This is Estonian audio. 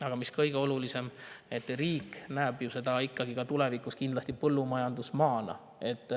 Aga mis kõige olulisem: riik näeb seda ikkagi ka tulevikus kindlasti põllumajandusmaana.